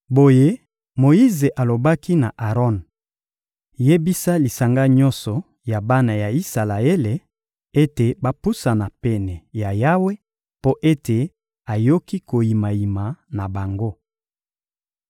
Boye Moyize alobaki na Aron: — Yebisa lisanga nyonso ya bana ya Isalaele ete bapusana pene ya Yawe mpo ete ayoki koyimayima na bango.